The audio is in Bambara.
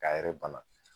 K'a yɛrɛ bana